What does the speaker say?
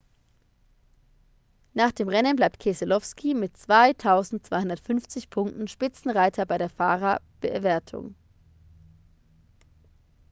nach dem rennen bleibt keselowski mit 2.250 punkten spitzenreiter in der fahrerwertung